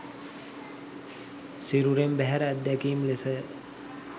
සිරුරෙන් බැහැර අත්දැකීම් ලෙසය